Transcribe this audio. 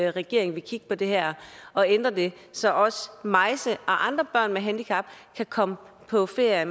at regeringen vil kigge på det her og ændre det så også maise og andre børn med handicap kan komme på ferie